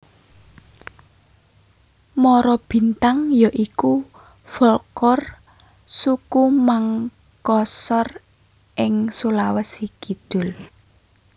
Marabintang ya iku folklor suku Mangkasar ing Sulawesi Kidul